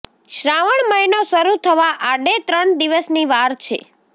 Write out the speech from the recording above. શ્રાવણ મહિનો શરૂ થવા આડે ત્રણ દિવસની વાર છે